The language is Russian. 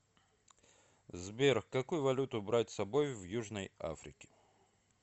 сбер какую валюту брать с собой в южной африке